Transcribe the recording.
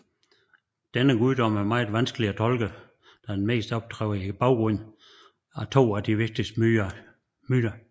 Denne guddom er meget vanskelig at tolke da han mest optræder i baggrunden af to af de vigtigste myter